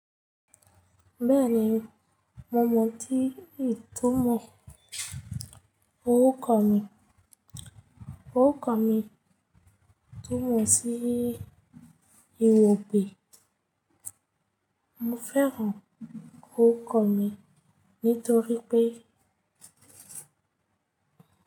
Bẹ́ẹ̀ni, mo mọ̀ ọ́n tí ìtumọ̀ orúkọ mi. Orúkọ mi túmọ̀ sí ìwọ̀pé. Mo fẹ́ràn orúkọ mi nítorí pé.